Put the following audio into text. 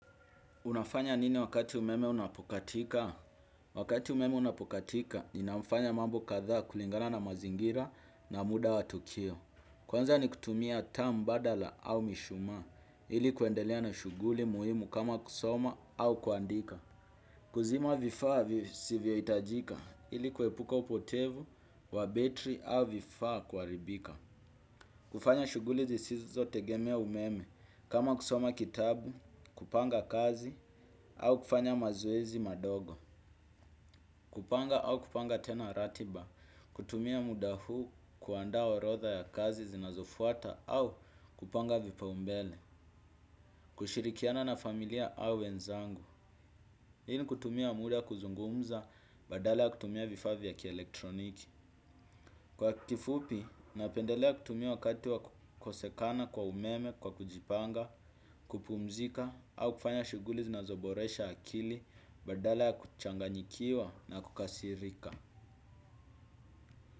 Unafanya nini wakati umeme unapokatika? Wakati umeme unapokatika, ninafanya mambo kadhaa kulingana na mazingira na muda wa tukio. Kwanza ni kutumia taa mbadala au mishuma, ili kuendelea na shuguli muhimu kama kusoma au kuandika. Kuzima vifaa visivyo hitajika, ili kuepuka upotevu, wa betri au vifaa kuharibika. Kufanya shughuli zisizo tegemea umeme, kama kusoma kitabu, kupanga kazi, au kufanya mazoezi madogo. Kupanga au kupanga tena ratiba, kutumia muda huu kuandaa orodha ya kazi zinazofuata au kupanga vipaumbele. Kushirikiana na familia au wenzangu, hii ni kutumia muda kuzungumza badala ya kutumia vifaa vya kielektroniki. Kwa kifupi, napendelea kutumia wakati wa kukosekana kwa umeme, kwa kujipanga, kupumzika, au kufanya shughuli zinazoboresha akili, badala ya kuchanganyikiwa na kukasirika.